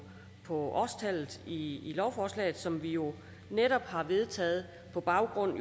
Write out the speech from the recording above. årstallet i lovforslaget som vi jo netop har vedtaget på baggrund